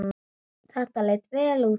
Þetta leit vel út.